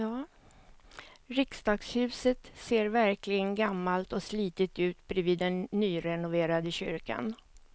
Riksdagshuset ser verkligen gammalt och slitet ut bredvid den nyrenoverade kyrkan.